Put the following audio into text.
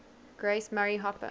grace murray hopper